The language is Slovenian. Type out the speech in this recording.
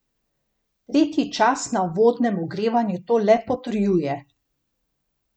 Tretji čas na uvodnem ogrevanju to le potrjuje.